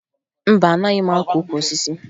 Mba, anaghị m akụ ukwu osisi